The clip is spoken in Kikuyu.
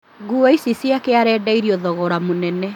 Nguo icio ciake arendeirio thogora mũnene